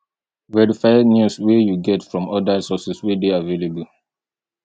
verify news wey you get from oda sources wey dey available